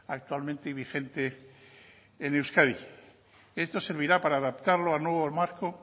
actualmente vigente en euskadi esto servirá para adaptarlo al nuevo marco